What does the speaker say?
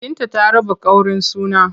Binta ta raba ƙaurin suna.